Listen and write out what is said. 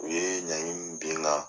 U ye ɲangi min bin n kan.